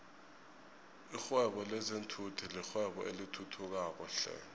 lihwebo lezinfhvthi yirwebo elithuthukayo flhe